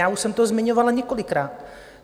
Já už jsem to zmiňovala několikrát.